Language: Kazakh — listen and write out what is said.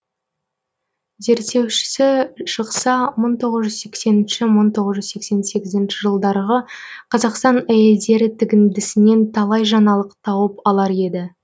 зерттеушісі шықса мың тоғыз жүз сексенінші сексен сегізінші жылдарғы қазақстан әйелдері тігіндісінен талай жаңалық тауып алар еді